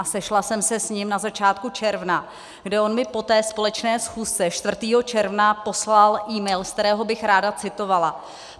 A sešla jsem se s ním na začátku června, kde on mi po té společné schůzce 4. června poslal email, z kterého bych ráda citovala.